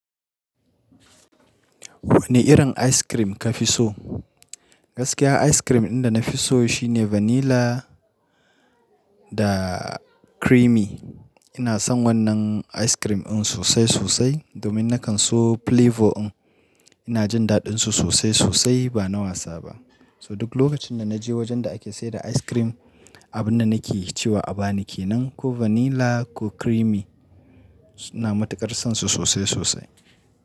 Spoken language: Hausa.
Wane irin ice cream ka fi so? Gaskiya ice cream ɗin da na fi so shine vanilla da creamy. Ina son wannan ice cream ɗin sosai sosai domin na kan so flavor ɗin. Ina jin daɗinsu sosai sosai ba na wasa ba. So duk lokacin da na je wajen da ake sayar da ice cream, abin da nake cewa a ba ni ke nan ko vanilla ko creamy. Na matuƙar son su sosai sosai.